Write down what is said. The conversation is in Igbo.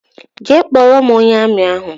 Jee kpọrọ m ónyé armi ahụ!!!